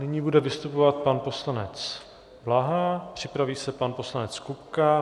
Nyní bude vystupovat pan poslanec Blaha, připraví se pan poslanec Kupka.